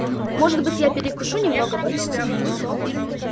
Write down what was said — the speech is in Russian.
может быть я перекушу немного потом